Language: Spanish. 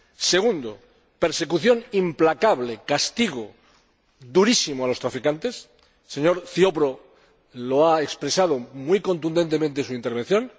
segundo, persecución implacable, castigo durísimo a los traficantes el señor Ziobro lo ha expresado muy contundentemente en su intervención